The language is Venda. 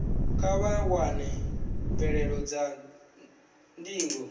kha vha wane mvelelo dza ndingo